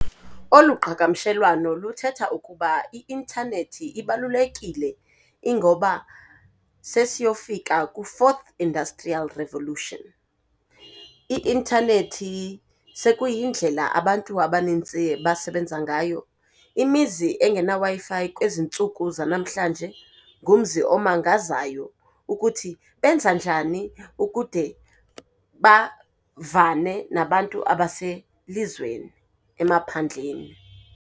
Oluqhagamshelwano luthetha ukuba i-intanethi ibalulekile, ingoba sesiyofika kwi-Forth Industrial Revolution, i-intanethi sekuyindlela abantu abaninzi abasebenza ngayo. Imizi engena Wi-Fi kwezi ntsuku zanamhlanje ngumzi omangazayo ukuthi benza njani ukude bavane nabantu abaselizweni, emaphandleni.